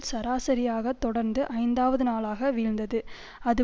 சராசரியாக தொடர்ந்து ஐந்தாவது நாளாக வீழ்ந்தது அது